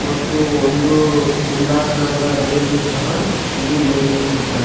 ಮತ್ತು ಒಂದು ದುಂಡಾಕರದ ರೈಲು ಸಹ ಇಲ್ಲಿ ನಿರ್ಮಿಸಿದ್ದಾರೆ.